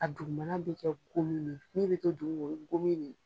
A dugumana bi kɛ komin ne ye, min mɛ to duguma o y gomin de ye.